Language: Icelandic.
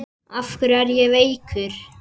Af hverju er ég veikur?